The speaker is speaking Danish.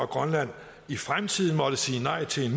grønland i fremtiden må sige nej til en